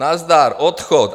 Nazdar, odchod.